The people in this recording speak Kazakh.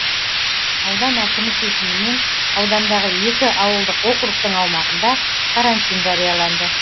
аудан әкімі шешімімен аудандағы екі ауылдық округтің аумағында карантин жарияланды